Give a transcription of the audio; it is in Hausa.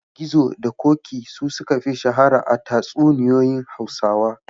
Gizo da Ƙoƙi su suka fi shahara a tatsuniyoyin Hausawa.